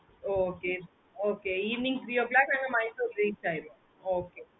okay okay evening three o clock நாங்க Mysore reach ஆவோம்